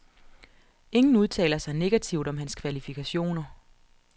Ingen udtaler sig negativt om hans kvalifikationer.